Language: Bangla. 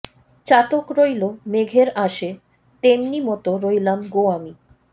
চাতক রইলো মেঘের আশে তেমনি মতো রইলাম গো আমি